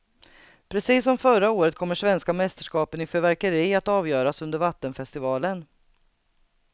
Precis som förra året kommer svenska mästerskapen i fyrverkeri att avgöras under vattenfestivalen.